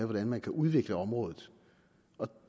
hvordan man kan udvikle området